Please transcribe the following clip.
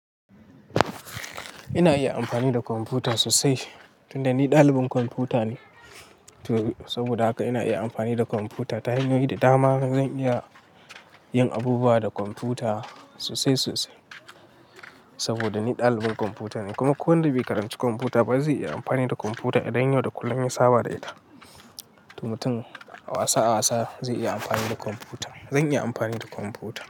Ina iya amfani da kwamfuta sosai tun da ni dalibin kwamfuta ne. Saboda haka ina iya amfani da kwamfuta. Ta hanyoyi da dama zan iya yin abubuwa da kwamfuta sosai sosai saboda ni dalibin kwamfuta ne. Kowa da bai karanci kwamfuta ba zai iya amfani da kwamfuta idan yau da kullum yai saba da ita. Mutum a wasa a wasa zai iya amfani da kwamfuta. Zan iya amfani da kwamfuta.